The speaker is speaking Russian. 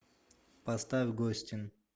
поставь гостин